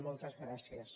moltes gràcies